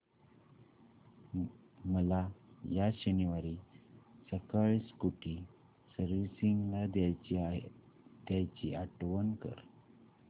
मला या शनिवारी सकाळी स्कूटी सर्व्हिसिंगला द्यायची आठवण कर